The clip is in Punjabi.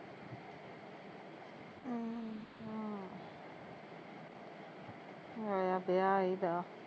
ਹਮ ਹੋਇਆ ਵਿਆਹ ਇਹਦਾ